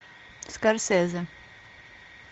скорсезе